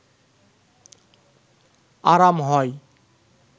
আরাম হয়